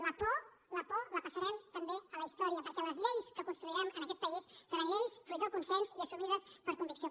la por la por la passarem també a la història perquè les lleis que construirem en aquest país seran lleis fruit dels consens i assumides per convicció